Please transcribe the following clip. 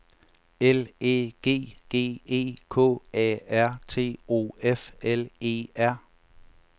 L Æ G G E K A R T O F L E R